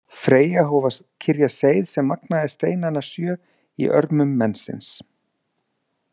Freyja hóf að kyrja seið sem magnaði steinana sjö á örmum mensins.